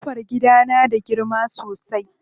Ƙofar gidan na da girma sosai.